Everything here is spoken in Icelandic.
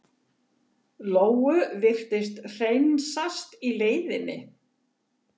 Lóu virtist hreinsast í leiðinni.